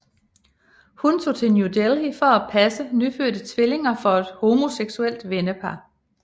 Hun tog til New Delhi for at passe nyfødte tvillinger for et homoseksuelt vennepar